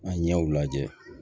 A ɲɛw lajɛ